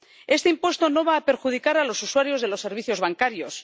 Este impuesto no va a perjudicar a los usuarios de los servicios bancarios